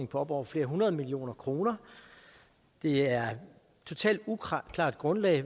på op over flere hundrede millioner kroner det er et totalt uklart grundlag